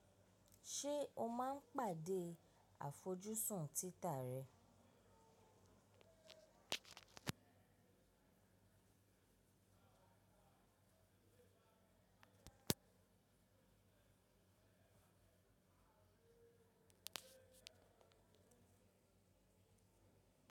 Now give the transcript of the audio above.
Ṣé o máa ń pàdé àfojúsùn títà rẹ?